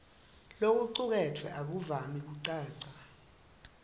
lokucuketfwe akuvami kucaca